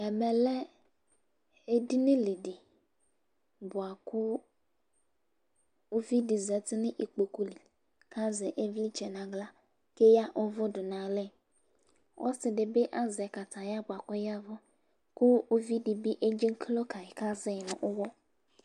ɛmɛ lɛ edini li di boa kò uvi di zati n'ikpoku li k'azɛ ivlitsɛ n'ala k'eya uvò do n'alɛ ɔse di bi azɛ kataya boa kò ɔyavu kò uvi di bi edzeklo kayi k'azɛ yi no uwɔ